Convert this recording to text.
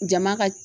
Jama ka